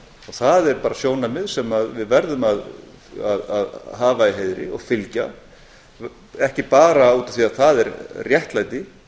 það er bara sjónarmið sem við verðum að hafa í heiðri og fylgja ekki bara út af því að það er réttlæti